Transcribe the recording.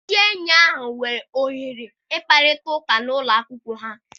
Ndị enyi ahụ nwere ohere ọma ịkparịta ụka n'ụlọ akwụkwọ ha.